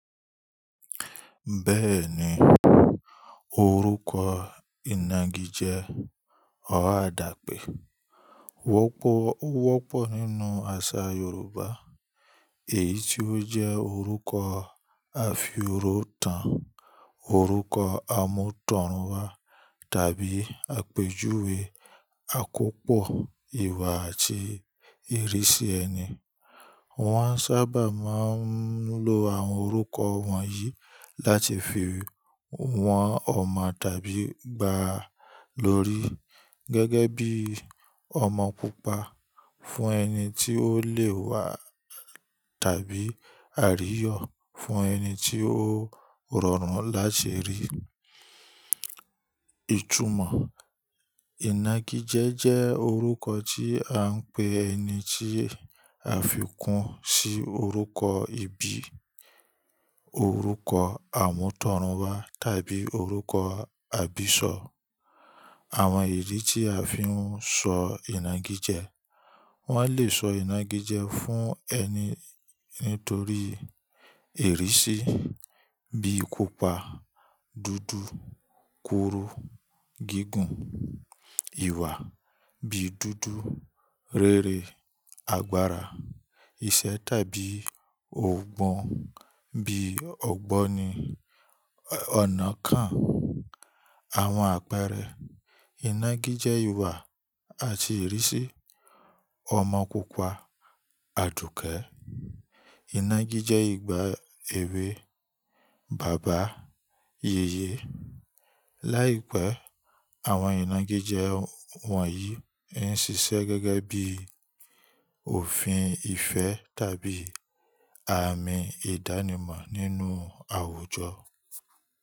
Bẹ́ẹ̀ni, orúkọ ìnagijẹ́ ọ̀r adàpẹ̀ wọ́pọ̀ nínú àṣà Yorùbá, èyí tí ó jẹ́ orúkọ àfíòrótan, orúkọ àmútọ̀runwá, tàbí àpèjúwe àkópọ̀ ìwà àti ìrísí ẹni. Wọ́n sábà máa ń lo àwọn orúkọ wọ̀nyí láti fi wọn ọmọ tàbí gba lórí gẹ́gẹ́ bíi ọmọ pupa fún ẹni tí ó lé wa tàbí àríyọ̀ fún ẹni tí ó rọrùn láti rí. Ìtúmọ̀. Ìnagijẹ́ jẹ́ orúkọ tí à ń pè ẹni tí a fi kún sí orúkọ ìbí, orúkọ àmútọ̀runwá tàbí orúkọ àbísọ̀. Àwọn ìdí tí a fi ń sọ ìnagijẹ, wọ́n lè sọ ìnagijẹ fún ẹni nítorí ìrísí bíi pupa, dúdú, kúrú, gígùn, ìwà, bíi dúdú, rere, agbára, iṣẹ́ tàbí òògùn bíi ọ̀gbọ́n ni ọ̀nà kan. Àwọn àpẹẹrẹ ìnagijẹ ìwà àti ìrísí, ọmọ pupa, Àdùkẹ́, ìnagijẹ ìgbà èwe, bàbá, yèyè. Láìpẹ́, àwọn ìnagijẹ wọ̀nyí ń ṣiṣẹ́ gẹ́gẹ́ bí òfin ìfẹ́ tàbí àmì ìdánimọ̀ nínú àwùjọ.